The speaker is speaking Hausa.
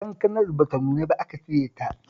Kankanar ba ta nuna ba aka cire ta